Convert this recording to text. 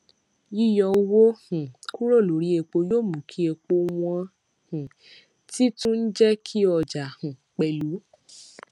yíyọ owó um kúrò lórí epo yóò mú kí epo wọn um tì tún jẹ kí ọjà um pẹlú